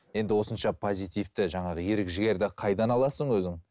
енді осынша позитивті жаңағы ерік жігерді қайдан аласың өзің